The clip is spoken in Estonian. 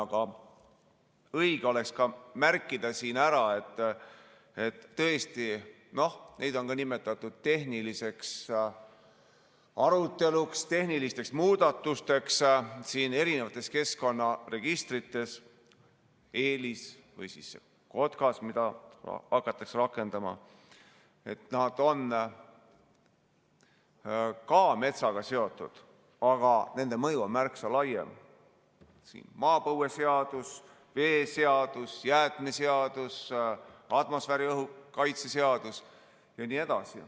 Aga õige oleks ka märkida siin ära, et tõesti, neid on ka nimetatud tehniliseks aruteluks, tehnilisteks muudatusteks siin erinevates keskkonnaregistrites EELIS või siis KOTKAS, mida hakatakse rakendama, nad on ka metsaga seotud, aga nende mõju on märksa laiem: maapõueseadus, veeseadus, jäätmeseadus, atmosfääriõhu kaitse seadus jne.